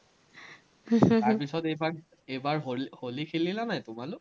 পিচত এইবাৰ এইবাৰ হলি খেলিলা নাই, তোমালোক?